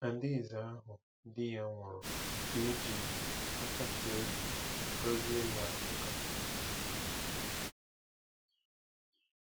Adaeze ahụ di ya nwụrụ ka ejiri nkasi obi gọzie na Nsukka.